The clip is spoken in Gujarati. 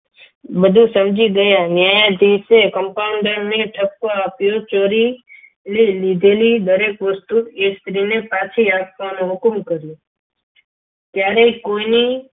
બધું સમજી ગયા ન્યાયાધીશ એ compounder ને ઠપકો આપ્યો ચોરી એ દરેક વસ્તુ લીધેલી એ સ્ત્રીને પાછી આપવાનો હુકમ કર્યો. ત્યારે કોઈની